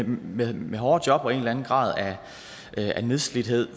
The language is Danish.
med med hårde job og en eller anden grad af nedslidthed